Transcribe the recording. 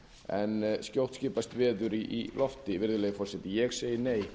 en skjótt skipast veður í lofti virðulegi forseti ég segi nei